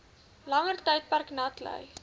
langer tydperk natlei